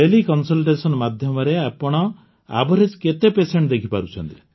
ତେଲେ consultation ମାଧ୍ୟମରେ ଆପଣ average କେତେ ପେସେଣ୍ଟ ଦେଖିପାରୁଛନ୍ତି